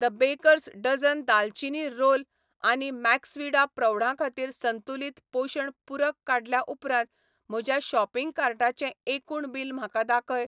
The bakers dozen दालचिनी roll आनी MaxVida प्रौढां खातीर संतुलित पोशण पूरक काडल्या उपरांत म्हज्या शॉपिंग कार्टाचें एकूण बिल म्हाका दाखय.